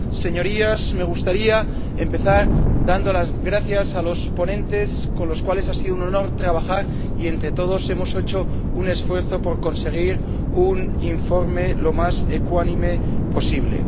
Señorías, me gustaría empezar dando las gracias a los ponentes, con los cuales ha sido un honor trabajar, y entre todos hemos hecho un esfuerzo por conseguir un informe lo más ecuánime posible.